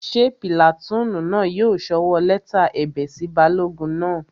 Ṣé pìlàtúùnù náà yóò sọwọ́ lẹ́tà ẹ̀bẹ̀ sí balógun náà?